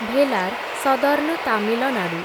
Velar, southern Tamil Nadu